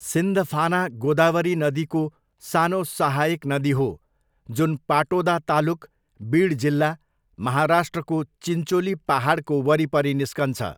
सिन्धफाना गोदावरी नदीको सानो सहायक नदी हो जुन पाटोदा तालुक, बिड जिल्ला, महाराष्ट्रको चिन्चोली पाहाडको वरिपरि निस्कन्छ।